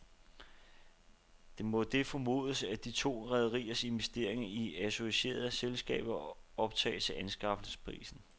Det må det formodes, at de to rederiers investeringer i associerede selskaber optages til anskaffelsesprisen.